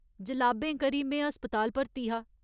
जलाबें करी में अस्पताल भर्ती हा।